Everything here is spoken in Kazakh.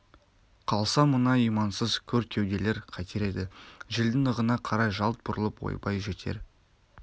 қалса мына имансыз көр кеуделер қайтер еді желдің ығына қарай жалт бұрылып ойбай жетер